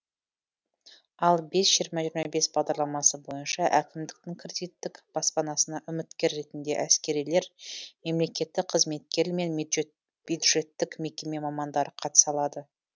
ал бес жиырма жиырма бес бағдарламасы бойынша әкімдіктің кредиттік баспанасына үміткер ретінде әскерилер мемлекеттік қызметкер мен бюджеттік мекеме мамандары қатыса алады